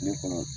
Ne kɔnɔ